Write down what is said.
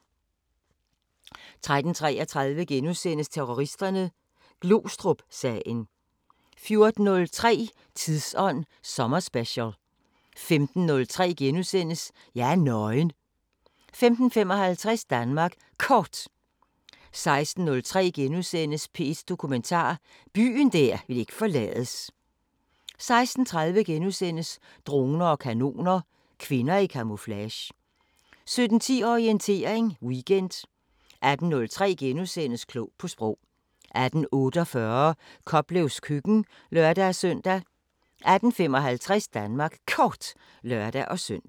13:33: Terroristerne: Glostrupsagen * 14:03: Tidsånd sommerspecial 15:03: Jeg er nøgen * 15:55: Danmark Kort 16:03: P1 Dokumentar: Byen der ikke ville forlades * 16:30: Droner og kanoner: Kvinder i kamuflage * 17:10: Orientering Weekend 18:03: Klog på Sprog * 18:48: Koplevs køkken (lør-søn) 18:55: Danmark Kort (lør-søn)